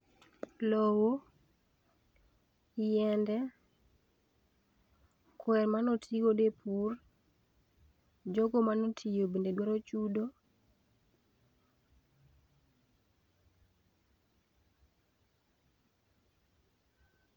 Lowo, yiende, kwe manotigodo e pur, jogo manotiyo bende dwaro chudo.